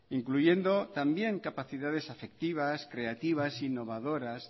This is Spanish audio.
incluyendo también capacidades afectivas creativas innovadoras